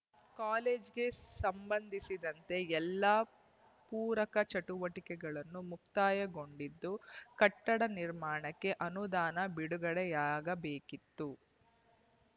ಕಾಲೇಜಿಗೆ ಸಂಬಂಧಿಸಿದಂತೆ ಎಲ್ಲ ಪೂರಕ ಚಟುವಟಿಕೆಗಳನ್ನು ಮುಕ್ತಾಯಗೊಂಡಿದ್ದು ಕಟ್ಟಡ ನಿರ್ಮಾಣಕ್ಕೆ ಅನುದಾನ ಬಿಡುಗಡೆಯಾಗಬೇಕಿತ್ತು